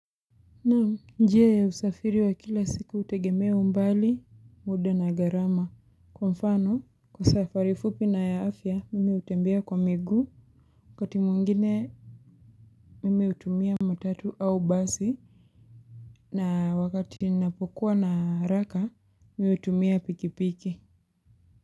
Naam, njia ya usafiri wa kila siku hutegemea umbali, muda na gharama. Kwa mfano, kwa safari fupi na ya afya, mimi hutembea kwa miguu. Wakati mwingine, mimi hutumia matatu au basi. Na wakati ninapokuwa na haraka, mimi hutumia pikipiki.